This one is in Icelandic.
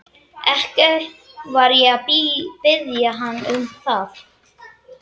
Ekki var ég að biðja hann um það.